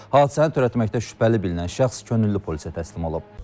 Hadisəni törətməkdə şübhəli bilinən şəxs könüllü polisə təslim olub.